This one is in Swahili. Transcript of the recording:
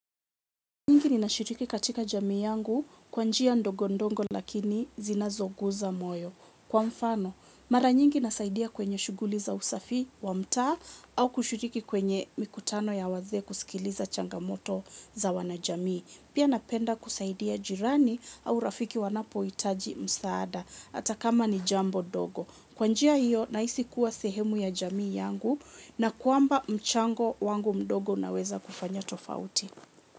Nyingi ninashiriki katika jamii yangu kwa njia ndogo ndongo lakini zinazogusa moyo. Kwa mfano, mara nyingi nasaidia kwenye shughuli za usafi wa mtaa au kushiriki kwenye mikutano ya wazee kusikiliza changamoto za wanajamii. Pia napenda kusaidia jirani au rafiki wanapohitaji msaada. Hata kama ni jambo dogo. Kwa njia hiyo, nahisi kuwa sehemu ya jamii yangu na kwamba mchango wangu mdogo unaweza kufanya tofauti.